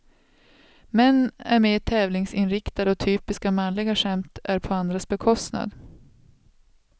Män är mer tävlingsinriktade och typiska manliga skämt är på andras bekostnad.